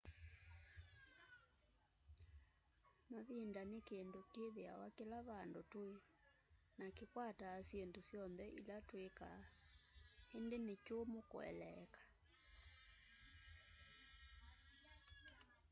mavinda ni kindu kithiawa kila vandu tui na kikwataa syindu syonthe ila twikaa indu ni kyumu kueleeka